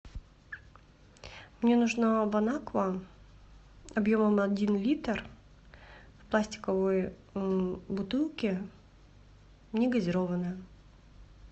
мне нужна бонаква объемом один литр в пластиковой бутылке не газированная